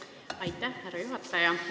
Aitäh, härra juhataja!